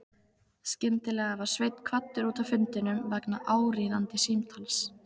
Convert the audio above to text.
Skyndilega var Sveinn kvaddur út af fundinum vegna áríðandi símtals.